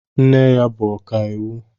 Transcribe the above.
Nne ya bụ ọkàiwu.